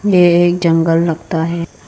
ये एक जंगल लगता है।